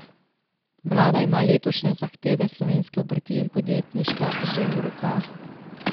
Vlada ima letošnje zahteve slovenske obrti in podjetništva že v rokah.